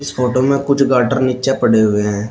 Photo में कुछ girder नीचे पड़े हुए है।